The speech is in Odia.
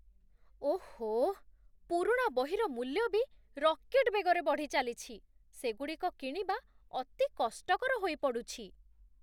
ଓଃ! ପୁରୁଣା ବହିର ମୂଲ୍ୟ ବି ରକେଟ୍ ବେଗରେ ବଢ଼ିଚାଲିଛି। ସେଗୁଡ଼ିକ କିଣିବା ଅତି କଷ୍ଟକର ହୋଇପଡ଼ୁଛି।